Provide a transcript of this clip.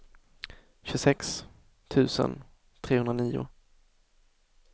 tjugosex tusen trehundranio